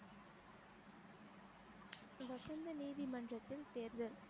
வசந்த நீதிமன்றத்தில் தேர்தல்